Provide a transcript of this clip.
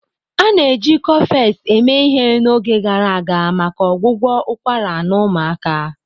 A na-eji Cofex eme ihe n'oge gara aga maka ọgwụgwọ ụkwara na ụmụaka.